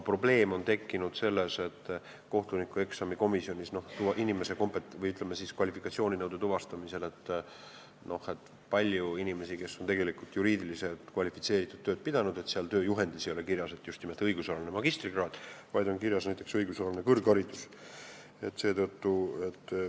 Probleem on tekkinud kohtunikueksami komisjonis kvalifikatsiooninõudele vastavuse tuvastamisel, sest on palju inimesi, kes on tegelikult juriidiliselt kvalifitseeritud tööd teinud, kuid tööjuhendis ei ole kirjas, et sel kohal töötamiseks on vaja just nimelt õigusalast magistrikraadi, vaid kirjas on näiteks "õigusalane kõrgharidus".